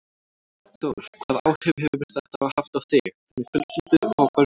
Þór: Hvaða áhrif hefur þetta haft á þig, þína fjölskyldu og á börnin þín?